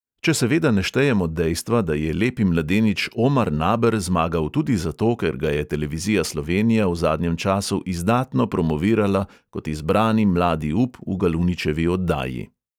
Če seveda ne štejemo dejstva, da je lepi mladenič omar naber zmagal tudi zato, ker ga je televizija slovenija v zadnjem času izdatno promovirala kot izbrani mladi up v galuničevi oddaji.